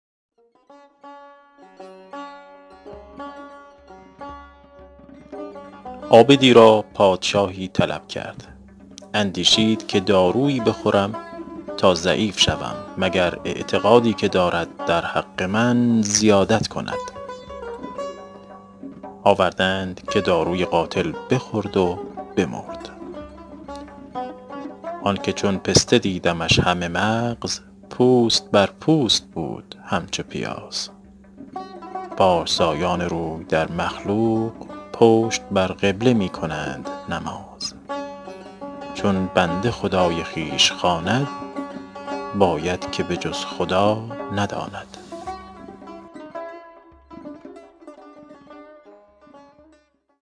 عابدی را پادشاهی طلب کرد اندیشید که دارویی بخورم تا ضعیف شوم مگر اعتقادی که دارد در حق من زیادت کند آورده اند که داروی قاتل بخورد و بمرد آن که چون پسته دیدمش همه مغز پوست بر پوست بود همچو پیاز پارسایان روی در مخلوق پشت بر قبله می کنند نماز چون بنده خدای خویش خواند باید که به جز خدا نداند